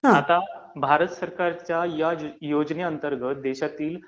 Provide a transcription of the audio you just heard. आता, भारत सरकारच्या ह्या योजने अंतर्गत देशातील